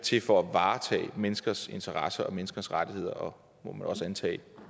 til for at varetage menneskers interesser og menneskers rettigheder og må man også antage